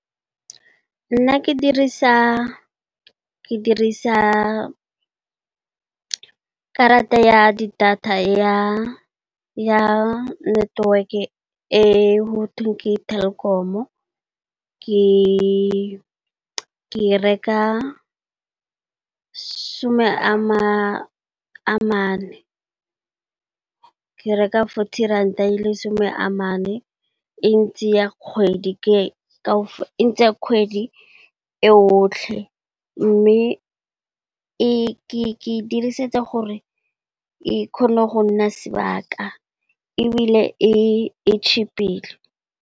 Nna ke dirisa karata ya data ya network e gotweng ke Telkom ke be ke reka some a mane, ke reka forty ranta . E ntsaya kgwedi yotlhe mme, ke edirisetsa gore e kgone go nna sebaka ebile e cheapile.